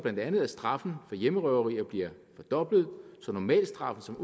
at straffen for hjemmerøverier bliver fordoblet så normalstraffen som